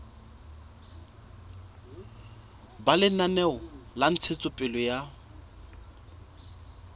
ba lenaneo la ntshetsopele ya